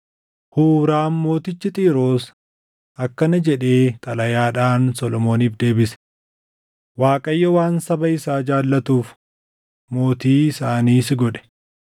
Huuraam mootichi Xiiroos akkana jedhee xalayaadhaan Solomooniif deebise: “ Waaqayyo waan saba isaa jaallatuuf mootii isaanii si godhe.”